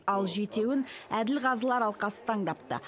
ал жетеуін әділқазылар алқасы таңдапты